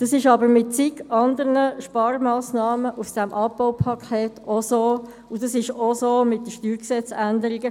Das ist aber bei vielen anderen Sparmassnahmen dieses Abbaupakets das Gleiche, und es ist auch das Gleiche bei der Änderung des Steuergesetzes (StG).